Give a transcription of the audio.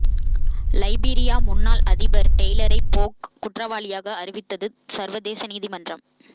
லைபீரிய முன்னாள் அதிபர் டெய்லரை போக் குற்றவாளியாக அறிவித்தது சர்வதேச நீதிமன்றம்